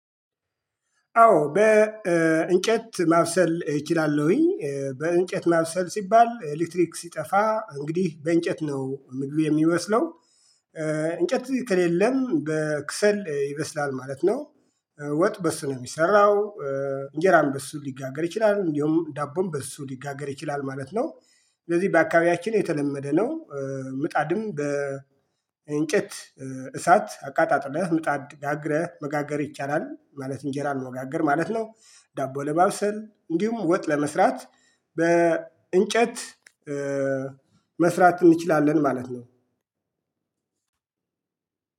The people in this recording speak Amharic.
አዎ በእንጨት ማብሰል እችላለሁኝ በእንጨት ማብሰል ሲባል ኤሌትሪክ ሲጠፋ እንግዲህ በእንጨት ነው ምግብ የሚበስለው እንጨት ከሌለም በክሰል ይበስላል ማለት ነው። ወጥ በሱ ነው የሚሰራው። እንጀራም በሱ ሊጋገር ይችላል እንዲሁም ዳቦን በሱ ሊጋገር ይችላል ማለት ነው። ስለዚህ በአካባቢያችን የተለመደ ነው። ምጣድም በእንጨት እሳት አቃጣጥለህ ምጣድ ጋግረህ መጋገር ይቻላል ማለት እንጀራ መጋገር ማለት ነው። ዳቦ ለማብሰል እንዲሁም ወጥ ለመስራት በእንጨት መስራት እንችላለን ማለት ነው።